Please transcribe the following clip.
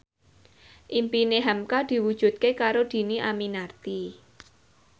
impine hamka diwujudke karo Dhini Aminarti